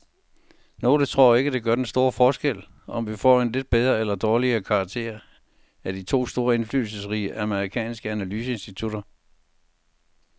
Nogle tror ikke, det gør den store forskel, om vi får en lidt bedre eller dårligere karakter af de to indflydelsesrige amerikanske analyseinstitutter.